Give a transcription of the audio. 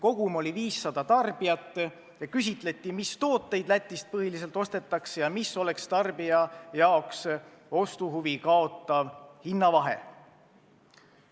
Kogum oli 500 tarbijat, kellelt küsiti, mis tooteid Lätist põhiliselt ostetakse ja milline oleks tarbijate ostuhuvi kaotav hinnavahe.